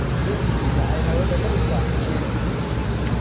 Dhirtu waxay hawada ka dhigtaa nadiif.